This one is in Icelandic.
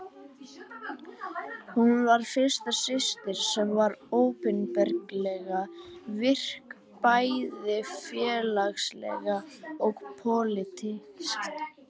Hún var fyrsta systirin sem var opinberlega virk, bæði félagslega og pólitískt.